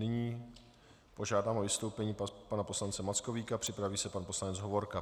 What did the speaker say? Nyní požádám o vystoupení pana poslance Mackovíka, připraví se pan poslanec Hovorka.